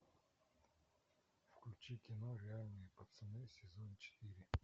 включи кино реальные пацаны сезон четыре